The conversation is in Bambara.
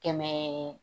Kɛmɛ